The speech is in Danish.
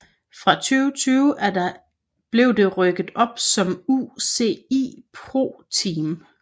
Fra 2020 blev det rykket op som UCI ProTeam